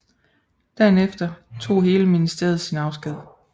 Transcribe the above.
Dagen efter tog hele ministeriet sin afsked